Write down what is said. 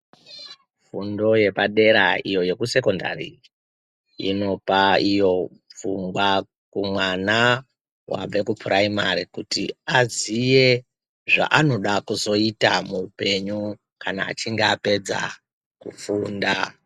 Fundo yepadera iyo yekusekondari , inopa iyo pfungwa kumwana wabve kupuraimari kuti aziye zvaanoda kuzoita muupenyu kana achinge apedza kufunda.